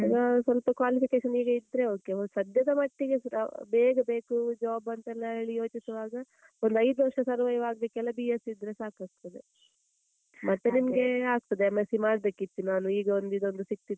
ಆಹ್ ಸ್ವಲ್ಪ qualification ಈಗ ಇದ್ರೆ okay ಒಂದ್ ಸದ್ಯದ ಮಟ್ಟಿಗೆ ಆಹ್ ಬೇಗ ಬೇಕು job ಅಂತ ಎಲ್ಲ ಹೇಳಿ ಯೋಚಿಸುವಾಗ, ಒಂದು ಐದು ವರ್ಷ survive ಆಗ್ಲಿಕ್ಕೆಲ್ಲ B.sc ಇದ್ರೆ ಸಾಕಾಗ್ತದೆ, ಮತ್ತೆ ನಿಮ್ಗೆ ಆಗ್ತದೆ. M.sc ಮಾಡ್ಬೇಕಿತ್ತು ನಾನು ಈಗ ಒಂದು ಇದೊಂದು ಸಿಗ್ತಿತ್ತು,